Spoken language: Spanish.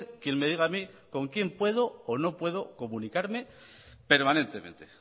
quien me diga a mí con quién puedo o no puedo comunicarme permanentemente